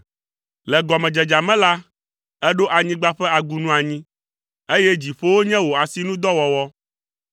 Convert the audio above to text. Le gɔmedzedzea me la, èɖo anyigba ƒe agunu anyi, eye dziƒowo nye wò asinudɔwɔwɔ.